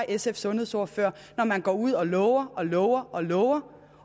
sfs sundhedsordfører når man går ud og lover og lover og lover